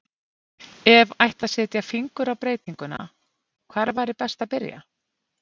Ef ætti að setja fingur á breytinguna, hvar væri best að byrja?